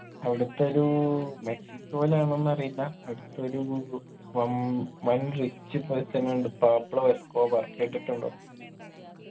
അവിടത്തൊരു മെക്സിക്കോലാണോന്നറിയില്ല അട്തൊരു വം വൻ rich person ഇണ്ട് പാബ്ലോ എസ്കോബാ കേട്ടിട്ടുണ്ടോ